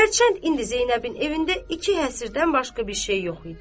Hərçənd indi Zeynəbin evindən iki həsirdən başqa bir şey yox idi.